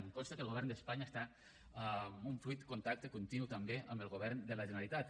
em consta que el govern d’espanya està en un fluid contacte continu també amb el govern de la generalitat